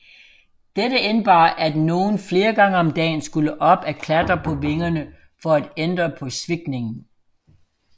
Dette indebar at nogen flere gange om dagen skulle op at klatre på vingerne for at ændre på svikningen